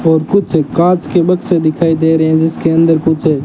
और कुछ कांच के बक्से दिखाई दे रहे हैं जिसके अंदर कुछ है।